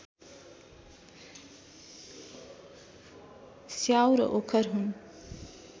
स्याउ र ओखर हुन्